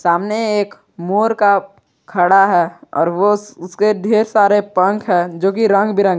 सामने एक मोर का खड़ा है ओर वो उसे ढेर सारे पंख है जो कि रंग बिरंग --